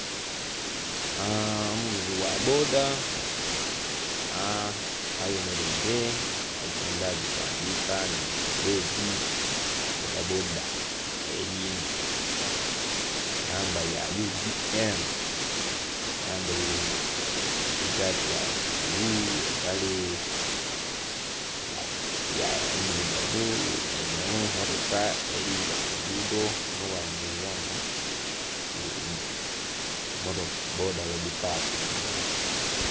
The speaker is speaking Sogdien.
Omuvuzi gha bboda ayemeleire ali kwendha gitandiika anhinhye ku bbulegi, bboda bboda eli ku namba ya UDM. Ayambaile tishaati ya bbulu, empale endhirugavu. Eno mmotoka eli bita ku luguudo onho bwayemeleire ghano ku bboda ghedipakingila.